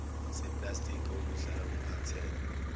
seplastiki obuhlala umphathele